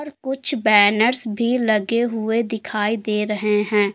कुछ बैनर्स भी लगे हुए दिखाई दे रहे हैं।